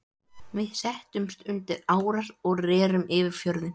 Við settumst undir árar og rerum yfir fjörðinn.